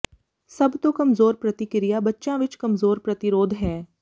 ਸਭ ਤੋਂ ਕਮਜ਼ੋਰ ਪ੍ਰਤੀਕ੍ਰਿਆ ਬੱਚਿਆਂ ਵਿੱਚ ਕਮਜ਼ੋਰ ਪ੍ਰਤੀਰੋਧ ਹੈ